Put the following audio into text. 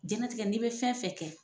Jɛnatigɛ n'i be fɛn fɛn kɛ